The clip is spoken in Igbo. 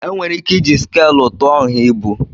Enwere ike iji skàlụ tụọ nha ibu